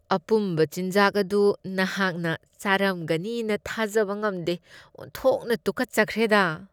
ꯑꯄꯨꯝꯕ ꯆꯤꯟꯖꯥꯛ ꯑꯗꯨ ꯅꯍꯥꯛꯅ ꯆꯥꯔꯝꯒꯅꯤꯅ ꯊꯥꯖꯕ ꯉꯝꯗꯦ ꯫ ꯑꯣꯟꯊꯣꯛꯅ ꯇꯨꯀꯠꯆꯈ꯭ꯔꯦꯗ!